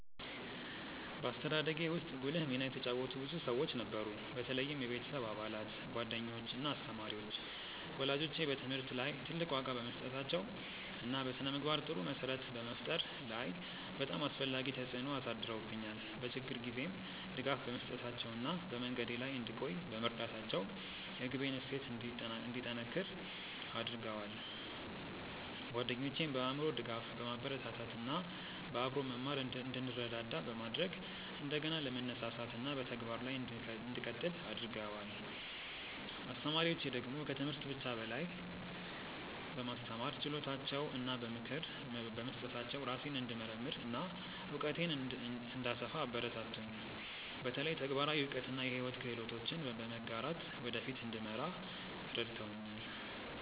በአስተዳደጌ ውስጥ ጉልህ ሚና የተጫወቱ ብዙ ሰዎች ነበሩ፣ በተለይም የቤተሰብ አባላት፣ ጓደኞች እና አስተማሪዎች። ወላጆቼ በትምህርት ላይ ትልቅ ዋጋ በመስጠታቸው እና በስነ-ምግባር ጥሩ መሰረት በመፍጠር ላይ በጣም አስፈላጊ ተጽዕኖ አሳድረውብኛል፤ በችግር ጊዜም ድጋፍ በመስጠታቸው እና በመንገዴ ላይ እንድቆይ በመርዳታቸው የግቤን እሴት እንዲጠነክር አድርገዋል። ጓደኞቼም በአእምሮ ድጋፍ፣ በማበረታታት እና በአብሮ መማር እንድንረዳዳ በማድረግ እንደገና ለመነሳሳት እና በተግባር ላይ እንድቀጥል አግርገደዋል። አስተማሪዎቼ ደግሞ ከትምህርት ብቻ በላይ በማስተማር ችሎታቸው እና በምክር በመስጠታቸው ራሴን እንድመርምር እና እውቀቴን እንድሰፋ አበረታቱኝ፤ በተለይ ተግባራዊ እውቀት እና የሕይወት ክህሎቶችን በመጋራት ወደ ፊት እንድመራ ረድተውኛል።